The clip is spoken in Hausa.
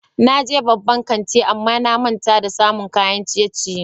Na je babban kanti amma na manta da samun kayan ciye-ciye.